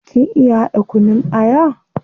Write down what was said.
Kin iya hada kunun aya?